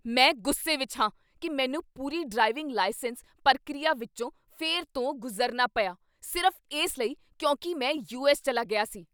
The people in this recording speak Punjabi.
ਮੈਂ ਗੁੱਸੇ ਵਿੱਚ ਹਾਂ ਕੀ ਮੈਨੂੰ ਪੂਰੀ ਡਰਾਈਵਿੰਗ ਲਾਈਸੈਂਸ ਪ੍ਰਕਿਰਿਆ ਵਿੱਚੋਂ ਫਿਰ ਤੋਂ ਗੁਜ਼ਰਨਾ ਪਿਆ ਸਿਰਫ਼ ਇਸ ਲਈ ਕਿਉਂਕਿ ਮੈਂ ਯੂਐੱਸ ਚੱਲਾ ਗਿਆ ਸੀ।